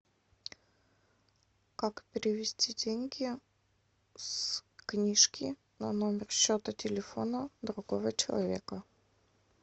как перевести деньги с книжки на номер счета телефона другого человека